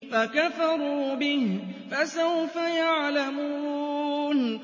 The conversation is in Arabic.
فَكَفَرُوا بِهِ ۖ فَسَوْفَ يَعْلَمُونَ